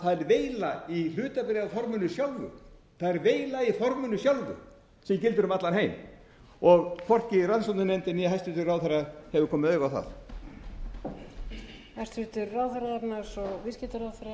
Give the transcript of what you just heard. væri veila í hlutabréfaforminu sjálfu það er veila í forminu sjálfu sem gildir um allan heim og hvorki rannsóknarnefndin né hæstvirtur ráðherra hefur komið auga á það